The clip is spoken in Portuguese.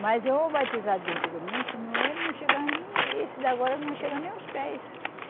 Mas o batizado de antigamente não é, não chegava nem, esse de agora não chega nem os pés.